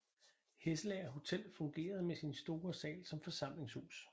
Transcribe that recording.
Hesselager Hotel fungerede med sin store sal som forsamlingshus